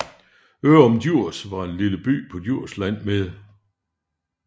Ørum Djurs er en lille by på Djursland med